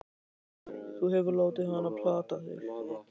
Þú hefur látið hann plata þig!